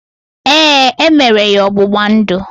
Ee, emere ya ọgbụgba ndụ